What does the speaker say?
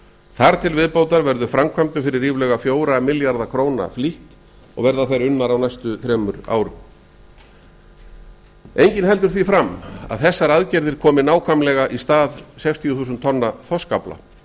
þar til viðbótar veður framvkæpmdum fyrir ríflega fjögurra milljarða króna flýtt og verða þær unnar á næstu þremur árum enginn heldur því fram að þessar aðgerðir komi nakvmælega í stað sextíu þúsund beinna þorskafla